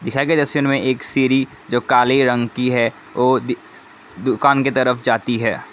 दिखाए गए तस्वीर में एक सिरी जो काले रंग की है वो दी दुकान की तरफ जाती है।